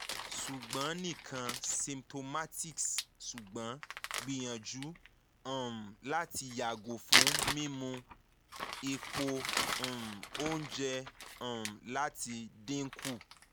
ṣugbọn nikan symptomaticṣugbọn gbiyanju um lati yago fun mimu epo um ounje um lati dinku